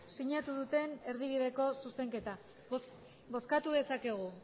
sinatu duten erdibideko zuzenketa bozkatu dezakegu